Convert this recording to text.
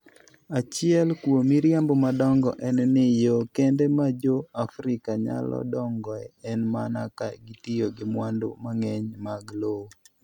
Achiel kuom miriambo madongo en ni, yo kende ma Jo - Afrika nyalo dongoe en mana ka gitiyo gi mwandu mang'eny mag lowo.